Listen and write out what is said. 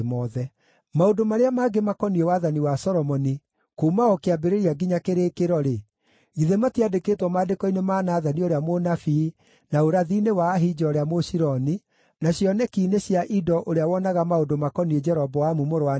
Maũndũ marĩa mangĩ makoniĩ wathani wa Solomoni, kuuma o kĩambĩrĩria nginya kĩrĩkĩro-rĩ, githĩ matiandĩkĩtwo maandĩko-inĩ ma Nathani ũrĩa mũnabii, na ũrathi-inĩ wa Ahija ũrĩa Mũshiloni, na cioneki-inĩ cia Ido ũrĩa wonaga maũndũ makoniĩ Jeroboamu mũrũ wa Nebati?